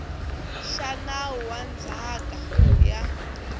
xa nawu wa ndzhaka ya